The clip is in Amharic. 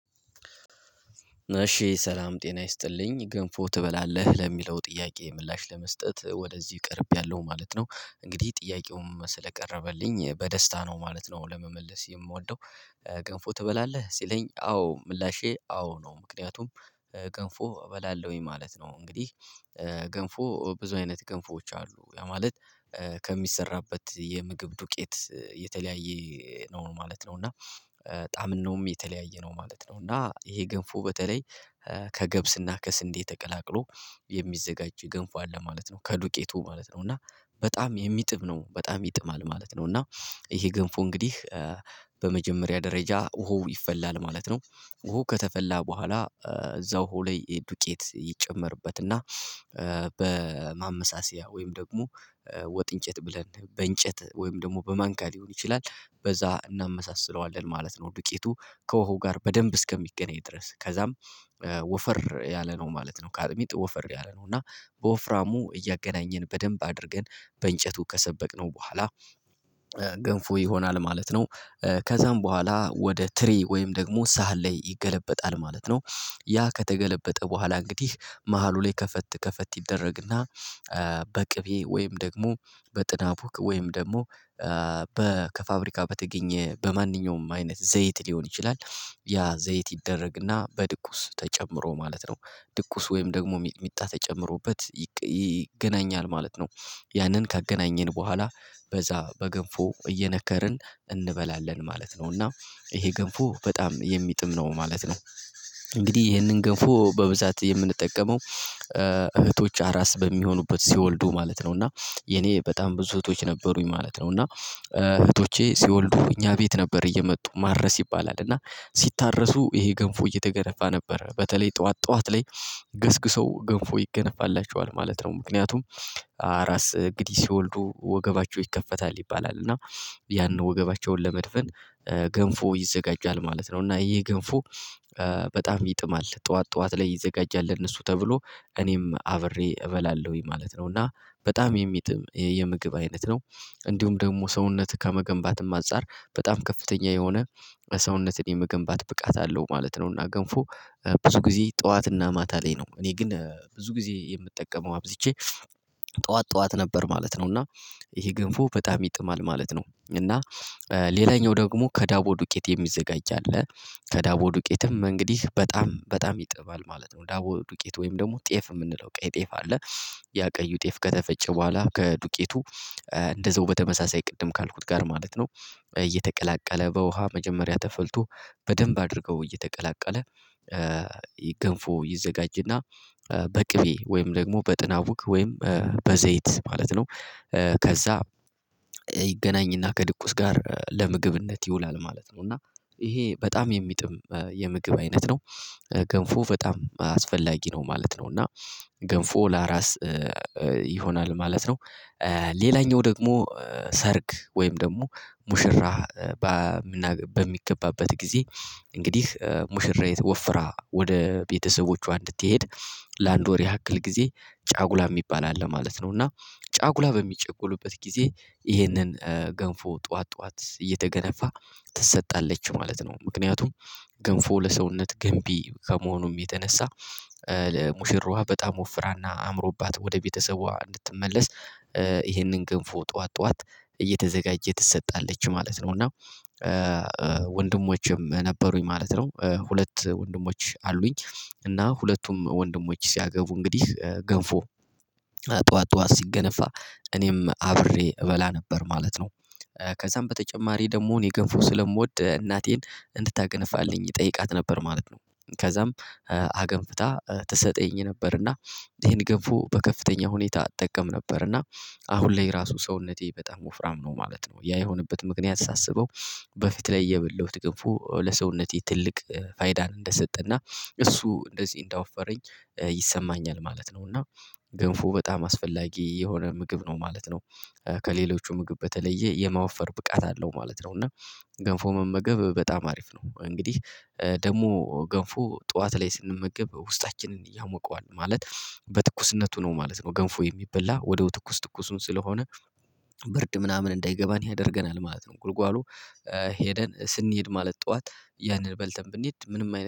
እሺ ሰላም ጤና ይስጥልኝ ገንፎ ትበላለህ ለሚለው ጥያቄ ምላሽ ለመስጠት ወደዚህ ቀርቢያለው ማለት ነው። እንግዲህ ጥያቄውም ስለቀረበልኝ በደስታ ነው ማለት ነው ለመመለስ የምወደው ገንፎ ትበላለህ ሲለኝ አዎ ምላሼ አዎ ነው። ምክንያቱም ገንፎ እበላለሁኝ ማለት ነው። እንግዲህ ገንፎ ብዙ አይነት ገንፎዎች አሉ ለማለት ከሚሰራበት የምግብ ዱቄት የተለያየ ነው ማለት ነው። እና ጣምናውም የተለያየ ነው ማለት ነው። እና ይሄ ገንፎ በተለይ ከገብስና ከስንዴ ተቀላቅሎ የሚዘጋጅ ገንፎ አለ ማለት ነው። ከዱቄቱ ማለት ነው እና በጣም የሚጥም ነው በጣም ይጥማል ማለት ነው። እና ይሄ ገንፎ እንግዲህ በመጀመሪያ ደረጃ ውሃው ይፈላል ማለት ነው። ውሃው ከተፈላ በኋላ እዛው ውሃው ላይ ዱቄት ይጨመርበት እና በማመሳሰያ ወይም ደግሞ ወጥ እንጨት ብለን በእንጨት ወይም ደግሞ በማንኪያ ሊሆን ይችላል በዛ እናመሳስለዋለን ማለት ነው። ዱቄቱ ከወሃው ጋር በደንብ እስከሚገናኝ ድረስ ከዛም ወፈር ያለ ነው ማለት ነው። ከአጥሚት ወፈር ያለ ነው እና በወፍራሙ እያገናኘን በደንብ አድርገን በእንጨቱ ከሰበቅነው በኋላ ገንፎ ይሆናል ማለት ነው። ከዛም በኋላ ወደ ትሪ ወይም ደግሞ ሳህን ላይ ይገለበጣል ማለት ነው። ያ ከተገለበጠ በኋላ እንግዲህ መሃሉ ላይ ከፈት ከፈት ይደረግና በቅቤ ወይም ደግሞ በጥናቡክ ወይም ደግሞ ከፋብሪካ በተገኘ በማንኛውም አይነት ዘይት ሊሆን ይችላል። ያ ዘይት ይደረግና በድቁስ ተጨምሮ ማለት ነው። ድቁስ ወይም ደግሞ ሚጥሚጣ ተጨምሮበት ይገናኛል ማለት ነው። ያንን ካገናኘን በኋላ በዛ በገንፎ እየነከርን እንበላለን ማለት ነው። እና ይሄ ገንፎ በጣም የሚጥም ነው ማለት ነው። እንግዲህ ይሄንን ገንፎ በብዛት የምንጠቀመው እህቶች አራስ በሚሆኑበት ሲወልዱ ማለት ነው እና የኔ በጣም ብዙ እህቶች ነበሩኝ ማለት ነው። እና እህቶቼ ሲወልዱ እኛ ቤት ነበር እየመጡ ማረስ ይባላል እና ሲታረሱ ይሄ ገንፎ እየተገነፋ ነበር በተለይ ጠዋት ጠዋት ላይ ገስግሰው ገንፎ ይገነፋላቸዋል ማለት ነው። ምክንያቱም አራስ እንግዲህ ሲወልዱ ወገባቸው ይከፈታል ይባላል እና ያንን ወገባቸውን ለመድፈን ገንፎ ይዘጋጃል ማለት ነው። እና ይሄ ገንፎ በጣም ይጥማል ጠዋት ጠዋት ላይ ይዘጋጃል ለእነሱ ተብሎ እኔም አብሬ እበላለሁኝ ማለት ነው። እና በጣም የሚጥም የምግብ አይነት ነው እንዲሁም ደግሞ ሰውነት ከመገንባትም አንፃር በጣም ከፍተኛ የሆነ ሰውነትህን የመገንባት ብቃት አለው ማለት ነው። እና ገንፎ ብዙ ጊዜ ጠዋትና ማታ ላይ ነው እኔ ግን ብዙ ጊዜ የምጠቀመው አብዝቼ ጠዋት ጠዋት ነበር ማለት ነው። እና ይሄ ገንፎ በጣም ይጥማል ማለት ነው። እና ሌላኛው ደግሞ ከዳቦ ዱቄት የሚዘጋጅ አለ ከዳቦ ዱቄትም እንግዲህ በጣም በጣም ይጥማል ማለት ነው። ዳቦ ዱቄት ወይም ደግሞ ጤፍ የምንለው ቀይ ጤፍ አለ ያ ቀዩ ጤፍ ከተፈጨ በኋላ ከዱቄቱ እንደዛው በተመሳሳይ ቅድም ካልኩት ጋር ማለት ነው። እየተቀላቀለ በውሃ መጀመሪያ ተፈልቶ በደንብ አድርገው እየተቀላቀለ ገንፎ ይዘጋጅና በቅቤ ወይም ደግሞ በጥናቡክ ወይም በዘይት ማለት ነው። ከዛ ይገናኝና ከድቁስ ጋር ለምግብነት ይውላል ማለት ነው። እና ይሄ በጣም የሚጥም የምግብ አይነት ነው ገንፎ በጣም አስፈላጊ ነው ማለት ነው። እና ገንፎ ለአራስ ይሆናል ማለት ነው። ሌላኛው ደግሞ ሰርግ ወይም ደግሞ ሙሽራ በምናገባ በሚገባበት ጊዜ እንግዲህ ሙሽራይት ወፍራ ወደ ቤተሰቦቿ እንድትሄድ ለአንድ ወር ያክል ጊዜ ጫጉላ የሚባል አለ ማለት ነው። እና ጫጉላ በሚጨጎሉበት ጊዜ ይህንን ገንፎ ጠዋት ጠዋት እየተገነፋ ትሰጣለች ማለት ነው። ምክንያቱም ገንፎ ለሰውነት ገንቢ ከመሆኑም የተነሳ ለሙሽራዋ በጣም ወፍራና አምሮባት ወደ ቤተሰቧ እንድትመለስ ይህንን ገንፎ ጠዋት ጠዋት እየተዘጋጀ ትሰጣለች ማለት ነው። እና ወንድሞችም ነበሩኝ ማለት ነው ሁለት ወንድሞች አሉኝ እና ሁለቱም ወንድሞች ሲያገቡ እንግዲህ ገንፎ ጠዋት ጠዋት ሲገነፋ እኔም አብሬ እበላ ነበር ማለት ነው። ከዛም በተጨማሪ ደግሞ እኔ ገንፎ ስለምወድ እናቴን እንድታገነፋልኝ እጠይቃት ነበር ማለት ነው። ከዛም አገንፍታ ትሰጠኝ ነበርና ይሄን ገንፎ በከፍተኛ ሁኔታ እጠቀም ነበርና አሁን ላይ ራሱ ሰውነቴ በጣም ወፍራም ነው ማለት ነው። ያ የሆነበት ምክንያት ሳስበው በፊት ላይ የበለሁት ገንፎ ለሰውነቴ ትልቅ ፋይዳን እንደሰጠና እሱ እንደዚህ እንዳወፈረኝ ይሰማኛል ማለት ነው። እና ገንፎ በጣም አስፈላጊ የሆነ ምግብ ነው ማለት ነው። ከሌሎቹ ምግብ በተለየ የማወፈር ብቃት አለው ማለት ነው እና ገንፎ መመገብ በጣም አሪፍ ነው። እንግዲህ ደግሞ ገንፎ ጠዋት ላይ ስንመገብ ውስጣችንን ያሞቀዋል ማለት በትኩስነቱ ነው ማለት ነው። ገንፎ የሚበላ ወዲያው ትኩስ ትኩሱን ስለሆነ ብርድ ምናምን እንዳይገባን ያደርገናል ማለት ነው። ጉልጓሎ ሄደን ስንሄድ ማለት ጠዋት ያንን በልተን ብንሄድ ምንም አይነት